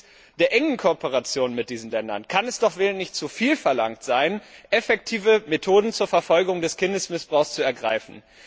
Angesichts der engen Kooperation mit diesen Ländern kann es doch wohl nicht zu viel verlangt sein, effektive Methoden zur Verfolgung des Kindesmissbrauchs zu ergreifen.